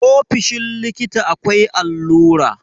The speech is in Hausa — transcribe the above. ofoshin likita akwai allura